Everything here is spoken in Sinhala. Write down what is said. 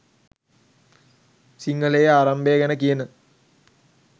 සිංහලයේ ආරම්භය ගැන කියන